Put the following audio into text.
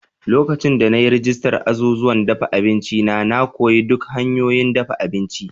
Lokacin da na yi rajistar azuzuwan dafa abinci na, na koyi duk hanyoyin dafa abinci.